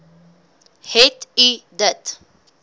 het u dit